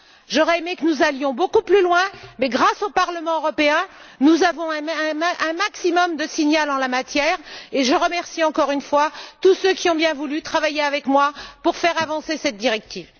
J'aurais aimé que nous allions beaucoup plus loin mais, grâce au Parlement européen, nous avons un maximum de signaux en la matière et je remercie encore une fois tous ceux qui ont bien voulu travailler avec moi pour faire avancer cette directive.